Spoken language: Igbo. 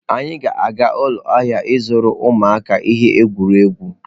Anyị ga-aga ụlọ ahịa ịzụrụ ụmụaka ihe egwuregwu.